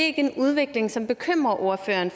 ikke en udvikling som bekymrer ordføreren